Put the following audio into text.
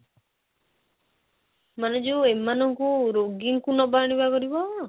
ମାନେ ଯଉ ଏମାନଙ୍କୁ ରୋଗୀ ଙ୍କୁ ନବା ଆଣିବା କରିବ?